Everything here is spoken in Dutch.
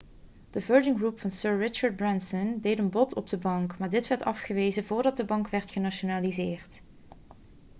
de virgin group van sir richard branson deed een bod op de bank maar dit werd afgewezen voordat de bank werd genationaliseerd